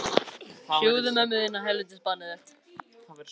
Enginn getur nokkurn tíma sannað hver var þarna inni!